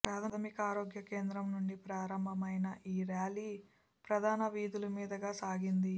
ప్రాథమిక ఆరోగ్య కేంద్రం నుండి ప్రారంభమైన ఈ ర్యాలీ ప్రధాన వీధుల మీదుగా సాగింది